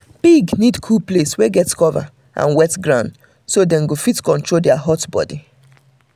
pig need cool place wey get cover and wet ground so dem go fit control their hot body